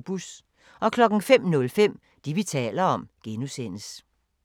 05:05: Det, vi taler om (G)